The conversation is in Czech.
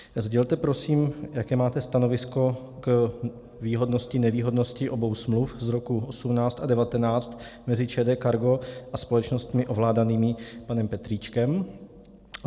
Sdělte prosím, jaké máte stanovisko k výhodnosti - nevýhodnosti obou smluv z roku 2018 a 2019 mezi ČD Cargo a společnostmi ovládanými panem Petríčkem.